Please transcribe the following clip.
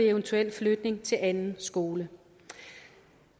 eventuel flytning til anden skole